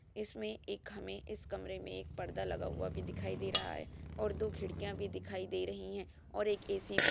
इसमें एक हमें इस कमरे में एक पर्दा लगा हुआ भी दिखाई दे रहा है और दो खिड़कियाँ भी दिखाई दे रहीं हैं और एक एसी भी --